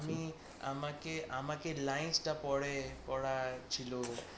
আমি আমাকে আমাকে line টা পড়ে পড়ার ছিল